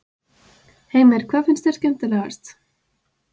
Heimir: Hvað finnst þér skemmtilegast?